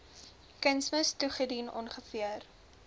kunsmis toegedien ongeveer